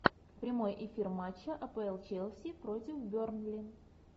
прямой эфир матча апл челси против бернли